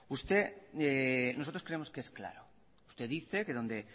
nosotros creemos que es claro usted dice que donde